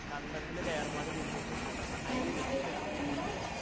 കണ്ടതിൽ ഒരു എർമാടി കൂട്ടീട്ട് അയിൽ വിത്തിട